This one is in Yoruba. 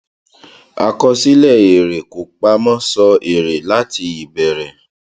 àkọsílẹ èrè kò pamọ sọ èrè láti ìbẹrẹ